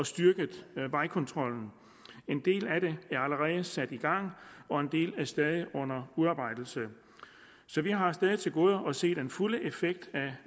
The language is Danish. styrket vejkontrollen en del af det er allerede sat i gang og en del er stadig under udarbejdelse så vi har stadig til gode at se den fulde effekt af